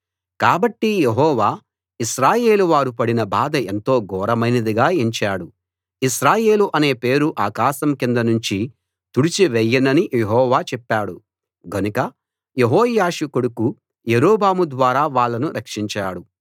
కాబట్టి యెహోవా ఇశ్రాయేలు వారు పడిన బాధ ఎంతో ఘోరమైనదిగా ఎంచాడు ఇశ్రాయేలు అనే పేరు ఆకాశం కింద నుంచి తుడిచి వేయనని యెహోవా చెప్పాడు గనుక యెహోయాషు కొడుకు యరొబాము ద్వారా వాళ్ళను రక్షించాడు